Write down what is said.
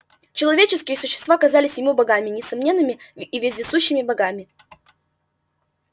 человеческие существа казались ему богами несомненными и вездесущими богами